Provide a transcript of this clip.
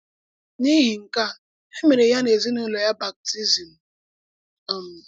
N’ìhì nke a, e mere ya na èzìnúlò ya bàptízmù. um